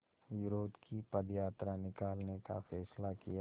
विरोध की पदयात्रा निकालने का फ़ैसला किया